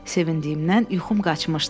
Sevindiymdən yuxum qaçmışdı.